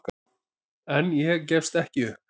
En ég gefst ekki upp.